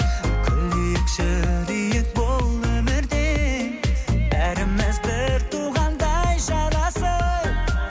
күлейік жүрейік бұл өмірде бәріміз бір туғандай жарасып